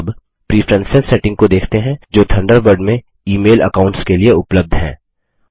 अब preference settings को देखते हैं जो थंडरबर्ड में ई मेल अकाउंट्स के लिए उपलब्ध हैं